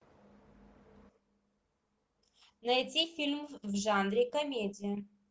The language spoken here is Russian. найти фильм в жанре комедия